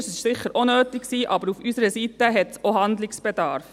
Das war sicher auch nötig, aber auf unserer Seite gibt es ebenfalls Handlungsbedarf.